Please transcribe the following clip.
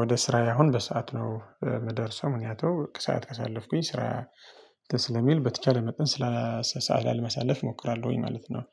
ወደ ስራዬ አሁን በሰአት ነው የምደርሰው ምክንያቱም ከሰአት ከሳለፍኩኝ ስራ ስለሚል በተቻለ መጠን ስላልሰአል ላይ መሳለፍ እሞክራለሁኝ ማለት ነው።